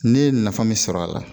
Ne ye nafa min sɔrɔ a la